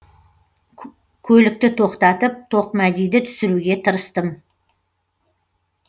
көлікті тоқтатып тоқмәдиді түсіруге тырыстым